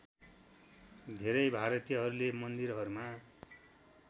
धेरै भारतीयहरूले मन्दिरहरूमा